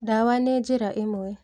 Ndawa nĩ njĩra ĩmwe